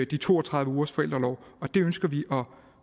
de to og tredive ugers forældreorlov og dem ønsker vi